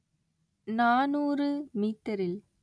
நாநூறு மீட்டரில்